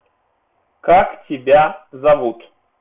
как тебя зовут